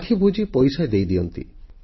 ଆଖିବୁଜି ପଇସା ଦେଇ ଦିଅନ୍ତି